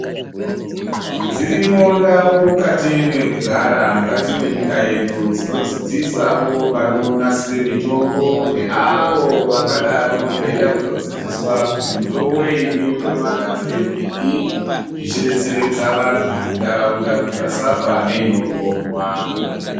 Dzirimondau mukati mwekugara, mukati mwenyika yedu, dzinodzidzisawo vanonasire mitombo neavo vangadaro veide kutodzidziswa kutodetsereka kuti mitombo iyi inoita magadzirirwei zvichidetseredza vantu muntaraunda kuti vasafa neinoponwa.